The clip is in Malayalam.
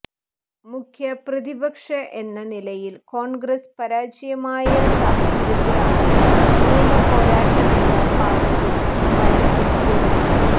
മുഖ്യ പ്രതിപക്ഷ എന്ന നിലയിൽ കോൺഗ്രസ് പരാജയമായ സാഹചര്യത്തിലാണ് നിയമപോരാട്ടമെന്ന പാതയിൽ കുമ്മനം എത്തിയത്